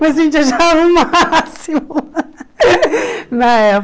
Mas a gente achava o máximo na época.